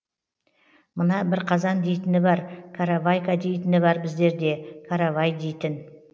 мына бірқазан дейтіні бар қаравайка дейтіні бар біздерде каравай дейтін